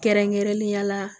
Kɛrɛnkɛrɛnnenya la